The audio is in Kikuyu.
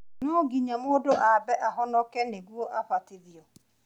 No nginya mũndũ aambe ahonoke nĩguo abatithio